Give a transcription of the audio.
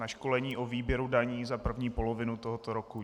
Na školení o výběru daní za první polovinu tohoto roku.